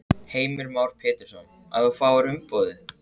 Heimir Már Pétursson: Að þú fáir umboðið?